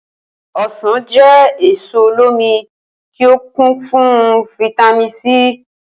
O̩sàn jé̩ èso olómi tí ó kún fún fítámì C